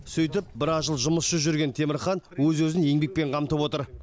сөйтіп біраз жыл жұмыссыз жүрген темірхан өз өзін еңбекпен қамтып отыр